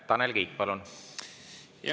Tanel Kiik, palun!